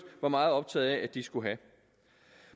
var meget optaget af at de skulle have